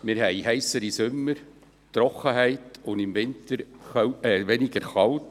Wir haben heissere Sommer, Trockenheit, und im Winter ist es weniger kalt.